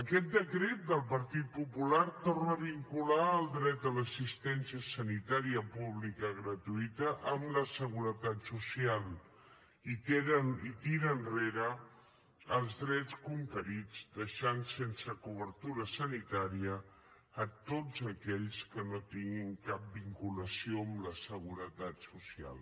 aquest decret del partit popular torna a vincular el dret a l’assistència sanitària pública gratuïta amb la seguretat social i tira enrere els drets conquerits en deixar sense cobertura sanitària tots aquells que no tinguin cap vinculació amb la seguretat social